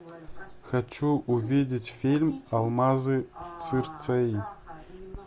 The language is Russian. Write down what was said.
хочу увидеть фильм алмазы цирцеи